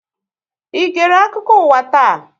Ị gère akụkọ ụwa taa?